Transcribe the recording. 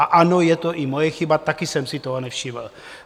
A ano, je to i moje chyba, taky jsem si toho nevšiml.